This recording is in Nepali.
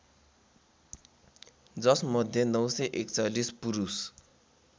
जसमध्ये ९४१ पुरुष